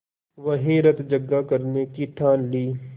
वहीं रतजगा करने की ठान ली